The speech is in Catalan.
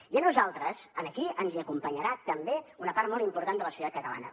i a nosaltres aquí ens hi acompanyarà també una part molt important de la societat catalana